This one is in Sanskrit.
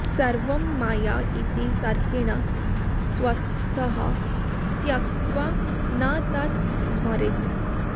सर्वं माया इति तर्केण स्वस्थः त्यक्त्वा न तत् स्मरेत्